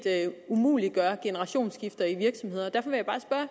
umuliggør generationsskifter i virksomheder derfor vil